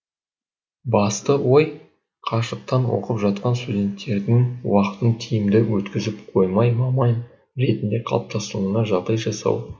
басты ой қашықтан оқып жатқан студенттердің уақытын тиімді өткізіп қоймай маман ретінде қалыптасуына жағдай жасау